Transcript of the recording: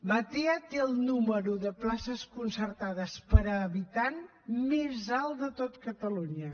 batea té el número de places concertades per habitant més alt de tot catalunya